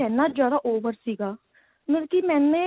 ਇੰਨਾ ਜਿਆਦਾ over ਸੀਗਾ ਮਤਲਬ ਕੀ ਮੈਨੇ